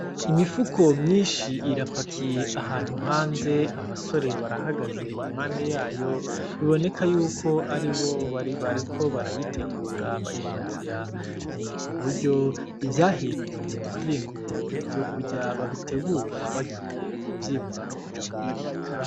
Imifuko myinshi irapakiye ahantu hanze, abasore barahagaze impande yayo, biboneka yuko ari bo bari bariko barayitegura bayipakira. Ni uburyo ivyahinguriwe mu mahinguro ivyo kurya babitegura bagiye kuvyimura no kuja kubibika.